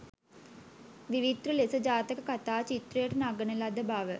විවිත්‍ර ලෙස ජාතක කතා චිත්‍රයට නඟන ලද බව